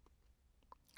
TV 2